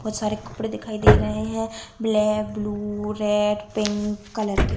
बहोत सारे कपड़े दिखाई दे रहे हैं black blue red pink colour के।